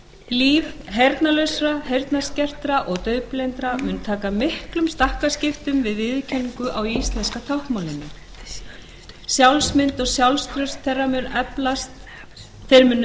líf heyrnarlausra heyrnarskertra og daufblindra mun taka miklum stakkaskiptum við viðurkenningu á íslenska táknmálinu sjálfsmynd og sjálfstraust þeirra mun eflast til muna þeir munu